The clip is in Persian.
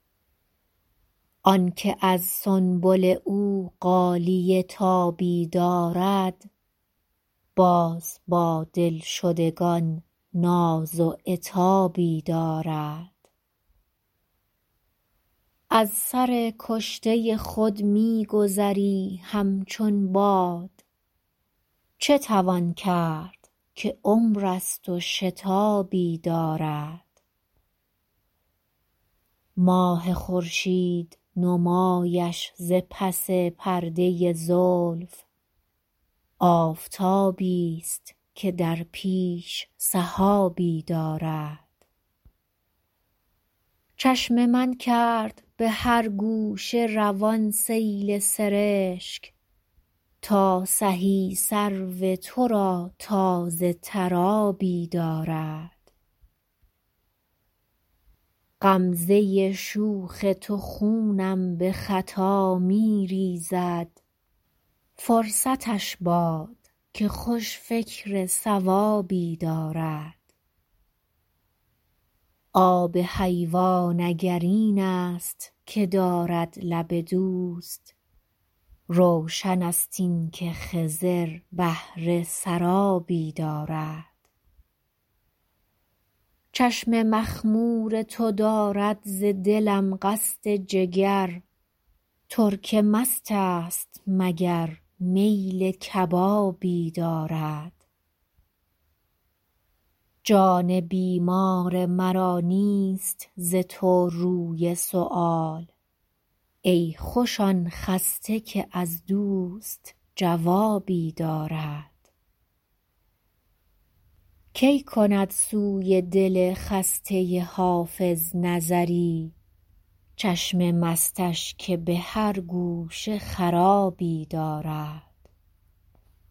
آن که از سنبل او غالیه تابی دارد باز با دلشدگان ناز و عتابی دارد از سر کشته خود می گذری همچون باد چه توان کرد که عمر است و شتابی دارد ماه خورشید نمایش ز پس پرده زلف آفتابیست که در پیش سحابی دارد چشم من کرد به هر گوشه روان سیل سرشک تا سهی سرو تو را تازه تر آبی دارد غمزه شوخ تو خونم به خطا می ریزد فرصتش باد که خوش فکر صوابی دارد آب حیوان اگر این است که دارد لب دوست روشن است این که خضر بهره سرابی دارد چشم مخمور تو دارد ز دلم قصد جگر ترک مست است مگر میل کبابی دارد جان بیمار مرا نیست ز تو روی سؤال ای خوش آن خسته که از دوست جوابی دارد کی کند سوی دل خسته حافظ نظری چشم مستش که به هر گوشه خرابی دارد